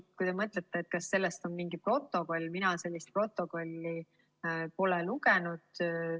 Aga kui te mõtlete, kas selle kohta on mingi protokoll, siis mina sellist protokolli pole lugenud.